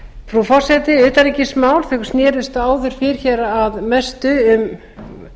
frú forseti utanríkismál snerust áður fyrr að mestu um